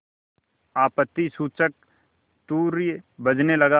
आपत्तिसूचक तूर्य बजने लगा